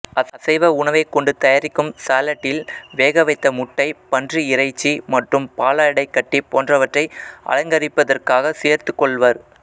அசைவ உணவைக் கொண்டு தயாரிக்கும் சாலட்டில் வேகவைத்த முட்டை பன்றி இறைச்சி மற்றும் பாலாடைக்கட்டி போன்றவற்றை அலங்கரிப்பதற்காக சேர்த்துக் கொள்வர்